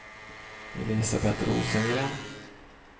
Elisabet Rosengren